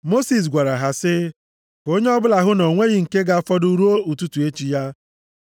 Mosis gwara ha sị, “Ka onye ọbụla hụ na o nweghị nke ga-afọdụ ruo ụtụtụ echi ya.”